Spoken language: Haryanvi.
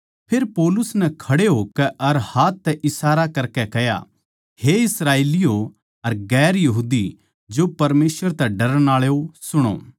फेर पौलुस नै खड़े होकै अर हाथ तै इशारा करकै कह्या हे इस्राएलियों अर परमेसवर तै डरण आळो सुणो